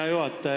Hea juhataja!